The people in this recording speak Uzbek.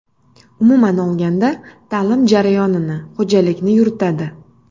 Umuman olganda, ta’lim jarayonini, ho‘jalikni yuritadi.